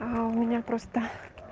а у меня просто